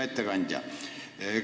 Hea ettekandja!